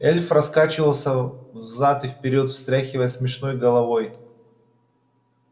эльф раскачивался взад и вперёд встряхивая смешной головой